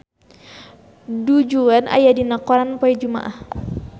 Du Juan aya dina koran poe Jumaah